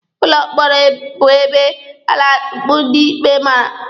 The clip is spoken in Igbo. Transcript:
Ụlọ mkpọrọ bụ ebe a na-atukpu ndị ikpe mara.